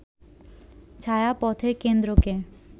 ছায়াপথের কেন্দ্রকে